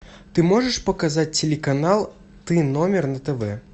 ты можешь показать телеканал т номер на тв